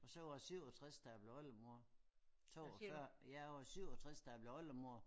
Og så var jeg 67 da jeg blev oldemor 42 jeg var 67 da jeg blev oldemor